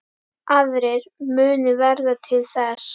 Aðrir munu verða til þess.